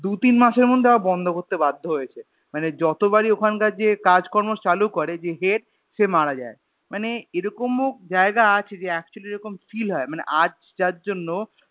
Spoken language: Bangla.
দুতিন মাসএর মধ্যে আবার বন্ধ করতে বাধ্য হয়েছে মানে যতবারই ওখানকার যে কাজকর্ম চালু করে যে Head সে মারা যায় মানে এরকম ও জায়গা আছে যে Actually এরকম Feel হয় মানে আজ যার জন্য